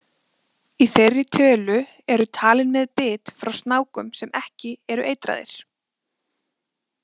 Í þeirri tölu eru talin með bit frá snákum sem ekki eru eitraðir.